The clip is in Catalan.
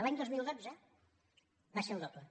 l’any dos mil dotze va ser el doble